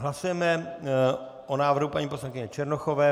Hlasujeme o návrhu paní poslankyně Černochové.